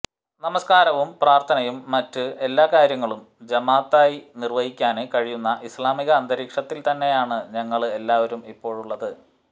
നമസ്കാരവും പ്രാര്ഥനയും മറ്റ് എല്ലാ കാര്യങ്ങളും ജമാഅത്തായി നിര്വഹിക്കാന് കഴിയുന്ന ഇസ്ലാമിക അന്തരീക്ഷത്തില്തന്നെയാണ് ഞങ്ങള് എല്ലാവരും ഇപ്പോഴുള്ളത്